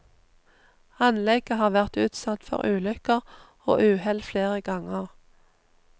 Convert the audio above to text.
Anlegget har vært utsatt for ulykker og uhell flere ganger.